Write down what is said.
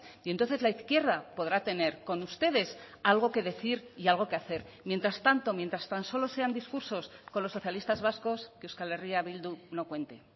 y entonces la izquierda podrá tener con ustedes algo que decir y algo que hacer mientras tanto mientras tan solo sean discursos con los socialistas vascos que euskal herria bildu no cuente